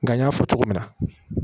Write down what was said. Nga n y'a fɔ cogo min na